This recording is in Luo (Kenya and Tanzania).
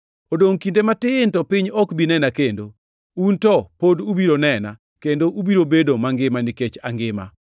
Odongʼ kinde matin to piny ok bi nena kendo. Un to pod ubiro nena, kendo ubiro bedo mangima nikech angima.